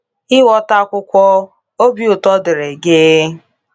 Ịghọta Akwụkwọ — Obi Ụtọ Dịịrị Gị